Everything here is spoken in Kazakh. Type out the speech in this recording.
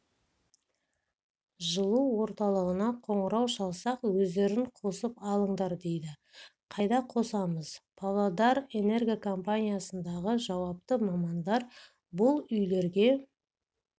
жылу орталығына қоңырау шалсақ өздерің қосып алыңдар дейді қайда қосамыз павлодарэнерго компаниясындағы жауапты мамандар бұл үйлерге